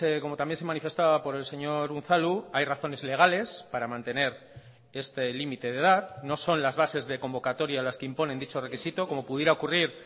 como también se manifestaba por el señor unzalu hay razones legales para mantener este límite de edad no son las bases de convocatoria las que imponen dicho requisito como pudiera ocurrir